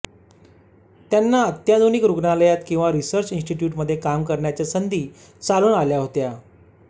त्यांना अत्याधुनिक रुग्णालयात किंवा रिसर्च इन्स्टिट्यूटमध्ये काम करण्याच्या संधी चालून आल्या होत्या